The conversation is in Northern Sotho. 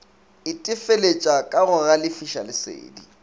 itefeletša ka go galefiša lesedi